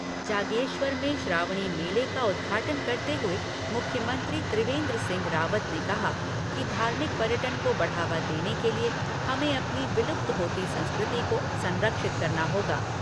जागेश्वर में श्रावणी मेले का उद्घाटन करते हुए मुख्यमंत्री त्रिवेंन्द्र सिंह रावत ने कहा कि धार्मिक पर्यटन को बढ़ावा देने के लिए हमें अपनी विलुप्त होती संस्कृति को संरक्षित करना होगा।